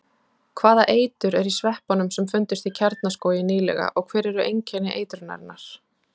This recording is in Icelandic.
Hvaða eitur er í sveppunum sem fundust í Kjarnaskógi nýlega og hver eru einkenni eitrunarinnar?